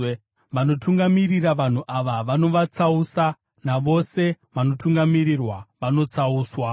Vanotungamirira vanhu ava vanovatsausa, navose vanotungamirirwa vanotsauswa.